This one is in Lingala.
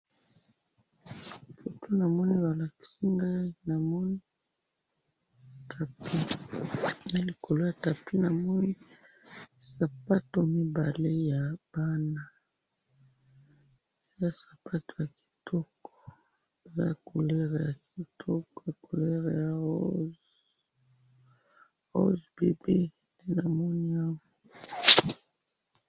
Foto namoni balakisi awa, namoni tapis, nalikolo ya tapis namoni sapato mibale ya bana, eza sapato ya kitoko, eza couleur kitoko, couleur ya rose, rose bébé, namoni awa.